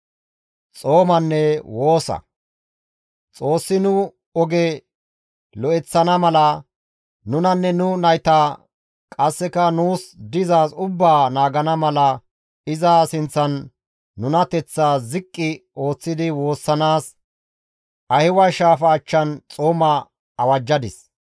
Xoossi nu oge lo7eththana mala, nunanne nu nayta qasseka nuus dizaaz ubbaa naagana mala iza sinththan nunateththaa ziqqi ooththidi woossanaas Ahiwa shaafa achchan xooma awajjadis.